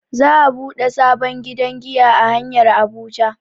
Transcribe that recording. Za'a buɗe sabon gidan giya a hanyar Abuja.